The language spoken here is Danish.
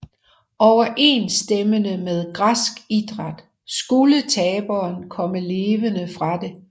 Overensstemmende med græsk idræt skulle taberen komme levende fra det